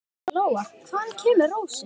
Lóa: Hvaðan kemur rósin?